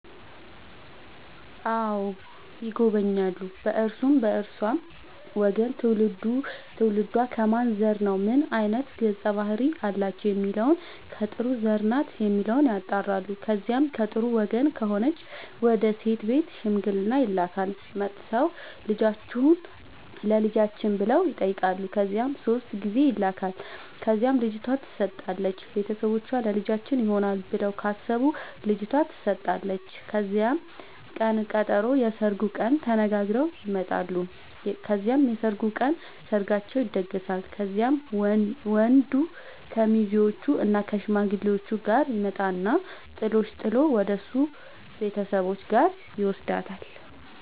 አዎ ይጎበኛሉ በእርሱም በእርሷም ወገን ትውልዱ ትውልዷ ከማን ዘር ነው ምን አይነት ገፀ ባህርያት አላቸው የሚለውን ከጥሩ ዘር ናት የሚለውን ያጣራሉ። ከዚያ ከጥሩ ወገን ከሆነች ወደ ሴት ቤት ሽምግልና ይላካል። መጥተው ልጃችሁን ለልጃችን ብለው ይጠያቃሉ ከዚያ ሶስት ጊዜ ይላካል ከዚያም ልጅቷ ትሰጣለች ቤተሰቦቿ ለልጃችን ይሆናል ብለው ካሰቡ ልጇቷ ተሰጣለች ከዚያም ቅን ቀጠሮ የስርጉን ቀን ተነጋግረው ይመጣሉ ከዚያም የሰርጉ ቀን ሰርጋቸው ይደገሳል። ከዚያም ወንድ ከሙዜዎችእና ከሽማግሌዎቹ ጋር ይመጣና ጥሎሽ ጥል ወደሱ ቤተሰቦች ጋር ይውስዳታል።